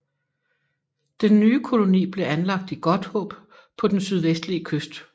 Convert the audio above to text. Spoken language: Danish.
Den nye koloni blev anlagt i Godthåb på den sydvestlige kyst